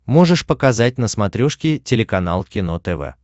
можешь показать на смотрешке телеканал кино тв